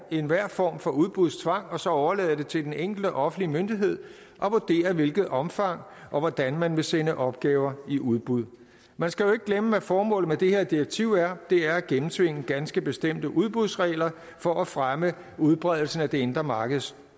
enhver form for udbudstvang og så overlade det til den enkelte offentlige myndighed at vurdere i hvilket omfang og hvordan man vil sende opgaver i udbud man skal jo ikke glemme at formålet med det her direktiv er er at gennemtvinge ganske bestemte udbudsregler for at fremme udbredelsen af det indre markeds